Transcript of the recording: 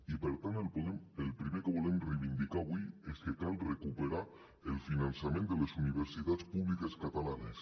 i per tant el primer que volem reivindicar avui és que cal recuperar el finançament de les universitats públiques catalanes